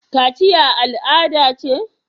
Kachiya al'ada ce?